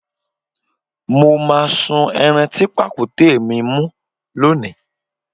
Mó máa sun ẹran tí pàkúté mi mú lónìí